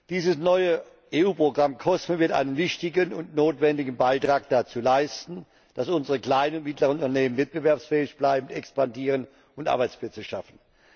Dieses neue EU Programm COSME wird einen wichtigen und notwendigen Beitrag dazu leisten, dass unsere kleinen und mittleren Unternehmen wettbewerbsfähig bleiben, expandieren und Arbeitsplätze schaffen.